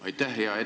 Aitäh!